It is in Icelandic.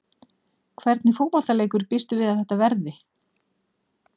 Hvernig fótboltaleikur býstu við að þetta verði?